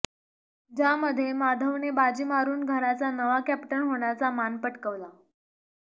ज्यामध्ये माधवने बाजी मारुन घराचा नवा कॅप्टन होण्याचा मान पटकवला